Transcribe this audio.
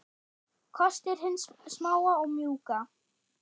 Kostir hins smáa og mjúka